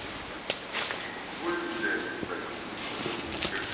хули блять ебать ну прикинь в натуре как